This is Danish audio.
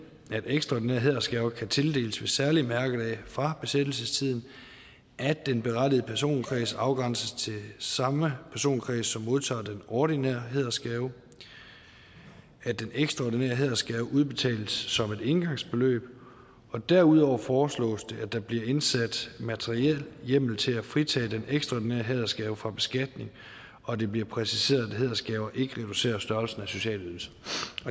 ekstraordinære hædersgaver kan tildeles ved særlige mærkedage fra besættelsestiden at den berettigede personkreds afgrænses til samme personkreds som modtager den ordinære hædersgave at den ekstraordinære hædersgave udbetales som et engangsbeløb og derudover foreslås det at der bliver indsat materiel hjemmel til at fritage den ekstraordinære hædersgave fra beskatning og det bliver præciseret at hædersgaver ikke reducerer størrelsen af sociale ydelser